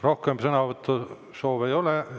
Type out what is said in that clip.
Rohkem sõnavõtusoove ei ole.